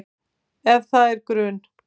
Ef það er grun